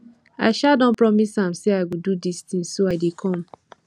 i um don promise am say i go do dis thing so i dey come